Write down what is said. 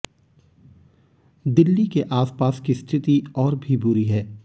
दिल्ली के आसपास की स्थिति और भी बुरी है